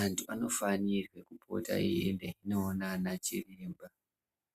Antu anofanirwe kupota aiende kunoona anachiremba